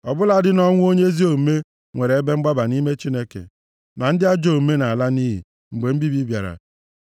Ọ bụladị nʼọnwụ onye ezi omume nwere ebe mgbaba nʼime Chineke, ma ndị ajọ omume na-ala nʼiyi, mgbe mbibi bịara.